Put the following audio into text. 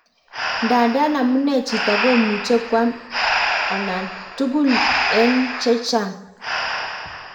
Ndadan amune jito komuche kwam nan. tugul en chechaang